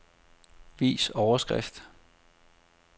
Vis overskrift.